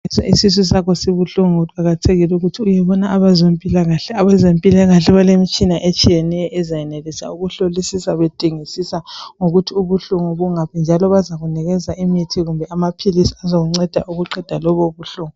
Sithi isisu sakho sibuhlungu kuqakathekile ukuthi uyebona abezempilakahle . Abezempilakahle balemtshina etshiyeneyo ezayenelisa ukuhlolisisa bedingisisa ukuthi ubuhlungu bungaphi njalo bazakunikeza imithi kumbe amaphilisi azakunceda ukuqeda lobu buhlungu.